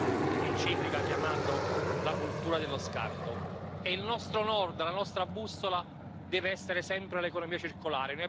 jak řešit otázky právě na pomezí právních předpisů týkajících se těchto chemických látek.